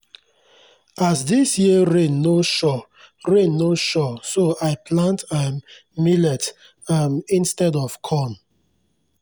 as dis year rain no sure rain no sure so i plant um millet um instead of corn.